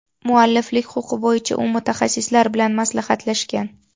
Mualliflik huquqi bo‘yicha u mutaxassislar bilan maslahatlashgan.